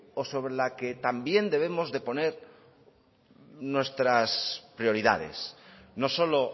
o sobre la que también debemos de poner nuestras prioridades no solo